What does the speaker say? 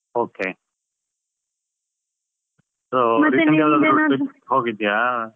Okay ಹೋಗಿದ್ಯಾ?